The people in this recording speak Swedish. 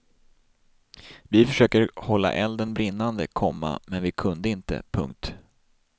Vi försökte hålla elden brinnande, komma men vi kunde inte. punkt